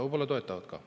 Võib-olla toetavad ka.